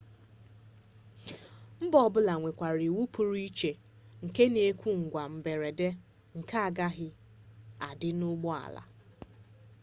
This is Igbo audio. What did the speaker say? mba ọbụla nwekwara iwu pụrụ iche nke na-ekwu ngwa mberede nke aghaghị idi n'ụgbọala